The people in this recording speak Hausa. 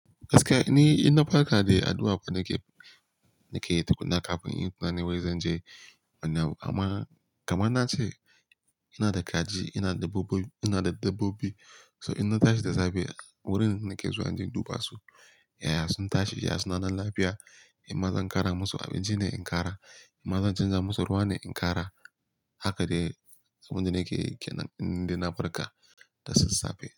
Gaskiya ni, inna farka dai addu'a fa nake, nake yi tukunna kafin in yi tunani wai zan je wani abu. Amma kaman na ce ina da kaji, ina da dabbobi, so inna tashi da safe wurin nake zuwa inje in duba su. Yaya sun tashi, yaya suna nan lafiya, in ma zan ƙara musu abinci ne in ƙara, in ma zan canza musu ruwa ne in ƙara. Haka dai abinda nake yi kenan, indai na farka da sassafe.